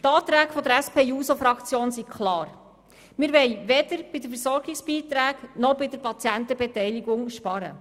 Die Anträge der SP-JUSO-PSA-Fraktion sind klar: Wir wollen weder bei den Versorgungsbeiträgen noch bei der Patientenbeteiligung sparen.